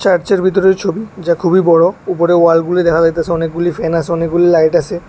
চার্চের ভিতরের ছবি যা খুবই বড়ো উপরে ওয়ালগুলি দেখা যাইতাসে অনেকগুলি ফ্যান আসে অনেকগুলি লাইট আসে ।